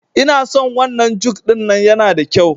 Inason wannan juk ɗin nan yana da kyau